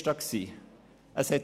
Es brauchte einen Chef.